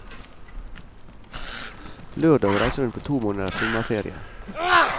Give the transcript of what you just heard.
Lørdag reiser hun på to måneders sommerferie.